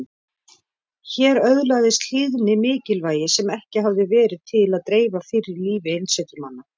Hér öðlaðist hlýðni mikilvægi sem ekki hafði verið til að dreifa fyrr í lífi einsetumanna.